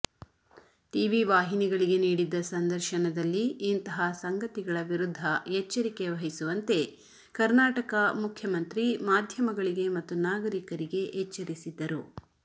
TV ವಾಹಿನಿಗಳಿಗೆ ನೀಡಿದ್ದ ಸಂದರ್ಶನದಲ್ಲಿ ಇಂತಹ ಸಂಗತಿಗಳ ವಿರುದ್ಧ ಎಚ್ಚರಿಕೆ ವಹಿಸುವಂತೆ ಕರ್ನಾಟಕ ಮುಖ್ಯಮಂತ್ರಿ ಮಾಧ್ಯಮಗಳಿಗೆ ಮತ್ತು ನಾಗರಿಕರಿಗೆ ಎಚ್ಚರಿಸಿದ್ದರು